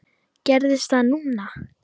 Gerist það núna?